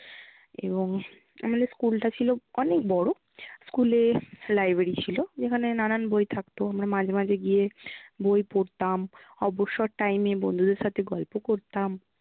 এবং আমাদের school টা ছিল অনেক বড় school এর library ছিল যেখানে নানান বই থাকতো আমরা মাঝে মাঝে গিয়ে বই পড়তাম, অবসর time এ বন্ধুদের সাথে গল্প করতাম।